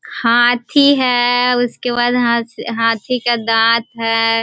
हाथी है उसके बाद हा हाथी का दॉंत हैं।